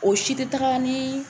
O si tɛ taga ni